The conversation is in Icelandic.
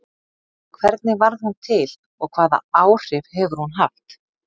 Hvernig varð hún til og hvaða áhrif hefur hún haft?